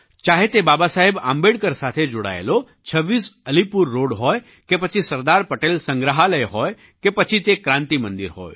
ચાહે તે બાબાસાહેબ આંબેડકર સાથે જોડાયેલો 26 અલીપુર રૉડ હોય કે પછી સરદાર પટેલ સંગ્રહાલય હોય કે પછી તે ક્રાન્તિ મંદિર હોય